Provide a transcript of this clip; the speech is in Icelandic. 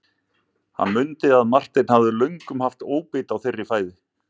Hann mundi að Marteinn hafði löngum haft óbeit á þeirri fæðu.